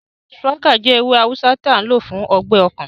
Shùwákà jẹ́ ewé awùsá tó n lò fún ọgbẹ́ ọkàn